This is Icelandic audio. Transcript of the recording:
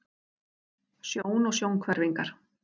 Sjón og sjónhverfingar.